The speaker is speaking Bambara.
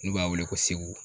N'u b'a wele ko segu